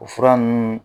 O fura ninnu